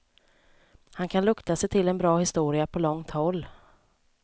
Han kan lukta sig till en bra historia på långt håll.